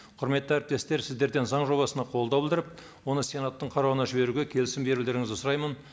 құрметті әріптестер сіздерден заң жобасына қолдау білдіріп оны сенаттың қарауына жіберуге келісім берулеріңізді сұраймын